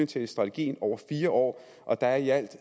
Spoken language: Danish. til strategien over fire år og der er i alt